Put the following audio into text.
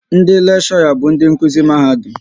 Ndị lekshora bụ ndị nkuzi Mahadum